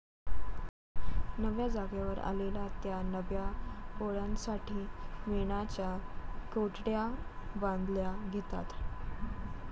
नव्या जागेवर आलेल्या त्या नव्या पोळ्यांसाठी मेणाच्या कोठड्या बांधायला घेतात.